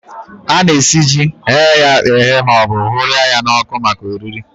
Ana-esi ji, ghee ya eghee maọbụ hụrịa ya n'ọkụ maka oriri